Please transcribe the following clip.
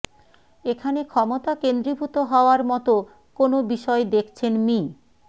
এখানে ক্ষমতা কেন্দ্রীভূত হওয়ার মতো কোন বিষয় দেখছেন মি